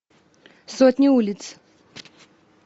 сотни улиц